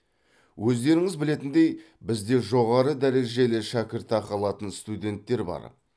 өздеріңіз білетіндей бізде жоғары дәрежелі шәкіртақы алатын студенттер бар